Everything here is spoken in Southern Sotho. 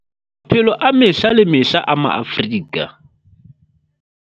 Maphelo a mehla le mehla a Maafrika.